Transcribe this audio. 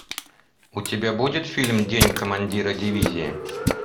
у тебя будет фильм день командира дивизии